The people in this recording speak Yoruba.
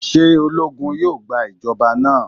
Ṣe ologun yoo gba ijọba naa?